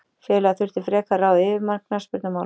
Félagið þurfi frekar að ráða yfirmann knattspyrnumála.